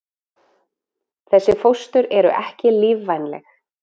Þessi fóstur eru ekki lífvænleg.